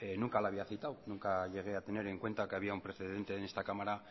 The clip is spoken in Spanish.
nunca la había citado nunca llegué a tener en cuenta que había un precedente en esta cámara